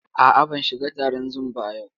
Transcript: A'a, ban shiga taron Zoom ba a yau.